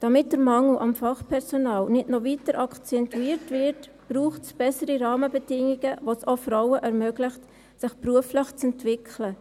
Damit der Mangel an Fachpersonal nicht noch weiter akzentuiert wird, braucht es bessere Rahmenbedingungen, welche es auch Frauen ermöglichen, sich beruflich zu entwickeln.